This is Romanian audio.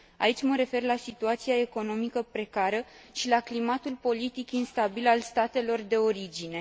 Aici mă refer la situația economică precară și la climatul politic instabil al statelor de origine.